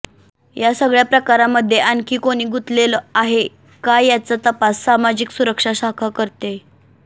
या सगळ्या प्रकारामध्ये आणखी कोणी गुंतलेल आहे का याचा तपास सामाजिक सुरक्षा शाखा करतेय